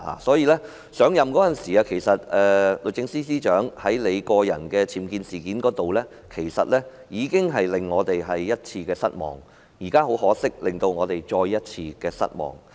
所以，律政司司長上任時，在她個人的僭建事件上，其實已經令我們失望一次，現在很可惜，她再次令我們失望。